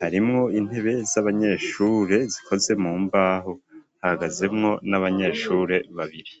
harimwo intebe z'abanyeshure zikoze mu mbaho, hahagazemwo n'abanyeshure babiri.